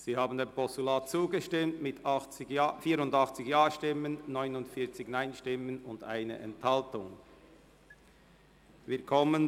Sie haben dem Postulat mit 84 Ja- gegen 49 Nein-Stimmen bei 1 Enthaltung zugestimmt.